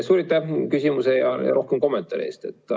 Suur aitäh küsimuse ja ka kommentaari eest!